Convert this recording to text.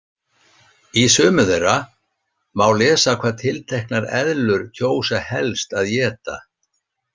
Í sumum þeirra má lesa hvað tilteknar eðlur kjósa helst að éta.